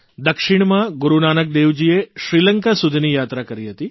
દક્ષિણમાં ગુરૂ નાનકદેવજીએ શ્રીલંકા સુધીની યાત્રા કરી હતી